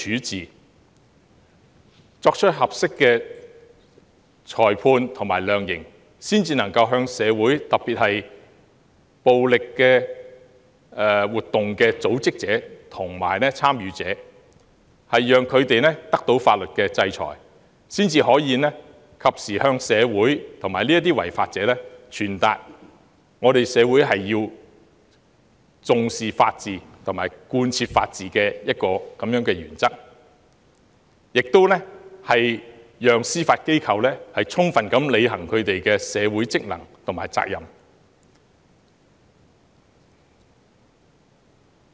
只有作出合適的裁判及量刑，才能令社會，特別是暴力活動的組織者及參與者得到法律制裁，並及時向社會和違法者傳達社會重視法治及貫徹法治原則的信息，以及讓司法機構充分履行社會職能和責任。